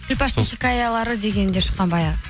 күлпәштың хикаялары деген де шыққан баяғы